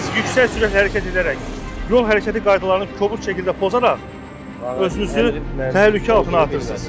Siz yüksək sürətlə hərəkət edərək yol hərəkəti qaydalarını kobud şəkildə pozaraq özünüzü təhlükə altına atırsınız.